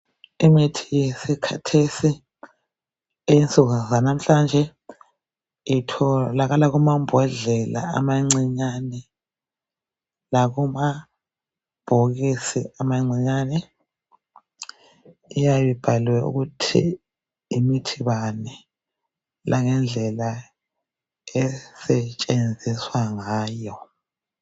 Imithi yesikhathesi eyensuku zanamhlanje Itholakala kumambodlela amancinyane lakumabhokisi amancinyane iyabe ibhaliwe ukuthi yimithi bani langendlela esetshenziswa ngayo.